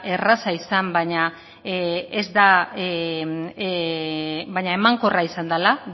erraza izan baina emankorra izan dela